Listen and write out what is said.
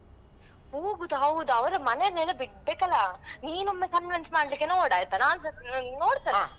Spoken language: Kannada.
ಹೋಗುದು ಹೌದು ಅವ್ರ ಮನೇಲೆಲ್ಲಾ ಬಿಡ್ಬೇಕಲ್ಲಾ ನೀನ್ನೊಮ್ಮೆ convince ಮಾಡ್ಲಿಕ್ಕೆ ನೋಡಾಯ್ತಾ ನಾನ್ಸ ಅಹ್ ನೋಡ್ತೆನೆ.